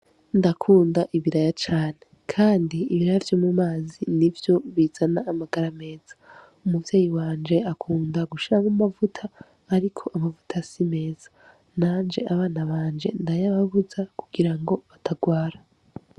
Ndakunda ibiraya cane kandi ibiraya vyo mu mazi nivyo bizana amagara meza umuvyeyi wanje akunda gushiramwo amavuta ariko amavuta si meza nanje abana banje ndayababuza kugira ngo batarwara.